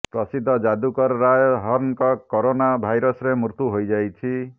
ପ୍ରସିଦ୍ଧ ଯାଦୁକର ରୟ ହର୍ଣ୍ଣଙ୍କ କରୋନା ଭାଇରସରେ ମୃତ୍ୟୁ ହୋଇଯାଇଛି